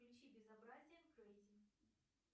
включи безобразие крейзи